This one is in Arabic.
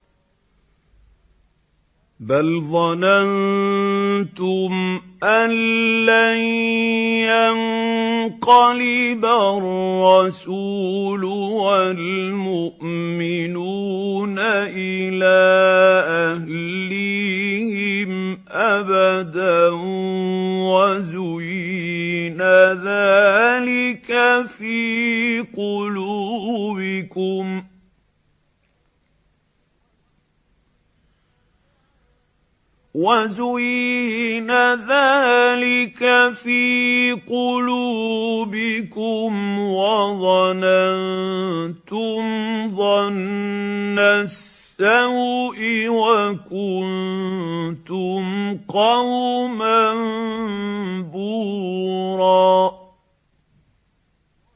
بَلْ ظَنَنتُمْ أَن لَّن يَنقَلِبَ الرَّسُولُ وَالْمُؤْمِنُونَ إِلَىٰ أَهْلِيهِمْ أَبَدًا وَزُيِّنَ ذَٰلِكَ فِي قُلُوبِكُمْ وَظَنَنتُمْ ظَنَّ السَّوْءِ وَكُنتُمْ قَوْمًا بُورًا